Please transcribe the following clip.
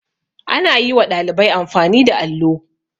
Ana yi wa ɗalibai amfani da allo.